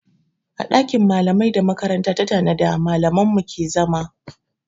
A ɗakin malamai da makaranta ta tanada malaman mu suke